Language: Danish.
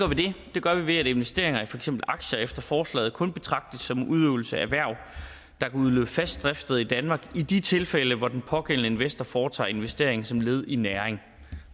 det gør vi ved at investeringer i for eksempel aktier efter forslaget kun betragtes som en udøvelse af erhverv der kan udløse fast driftssted i danmark i de tilfælde hvor den pågældende investor foretager investeringen som led i næring